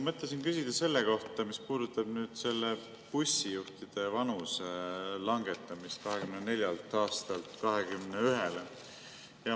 Mõtlesin küsida selle kohta, mis puudutab bussijuhtide vanuse langetamist 24-lt aastalt 21-le.